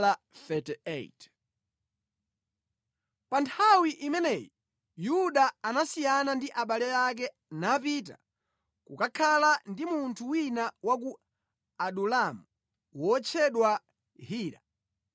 Pa nthawi imeneyi, Yuda anasiyana ndi abale ake napita kukakhala ndi munthu wina wa ku Adulamu wotchedwa Hira.